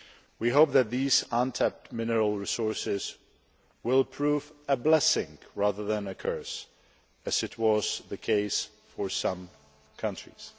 We hope that these untapped mineral resources will prove a blessing rather than a curse, as has been the case for some countries.